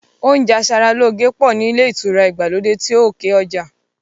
Oúnjẹ aṣaralóore pọ̀ ní ilé ìtura ìgbàlódé ti òkè ọjà